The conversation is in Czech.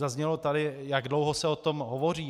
Zaznělo tady, jak dlouho se o tom hovoří.